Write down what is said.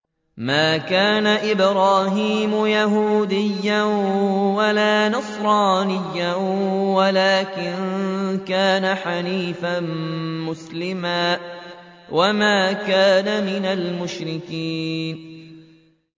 مَا كَانَ إِبْرَاهِيمُ يَهُودِيًّا وَلَا نَصْرَانِيًّا وَلَٰكِن كَانَ حَنِيفًا مُّسْلِمًا وَمَا كَانَ مِنَ الْمُشْرِكِينَ